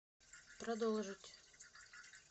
продолжить